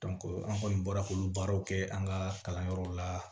an kɔni bɔra k'olu baaraw kɛ an ka kalanyɔrɔw la